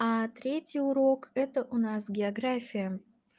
третий урок это у нас география